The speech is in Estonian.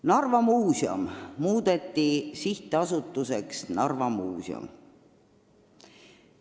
Narva Muuseum muudeti mõni aeg tagasi Sihtasutuseks Narva Muuseum.